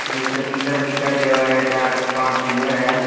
नीचे पिलर दिखाई देवे है चार पांच पिलर है।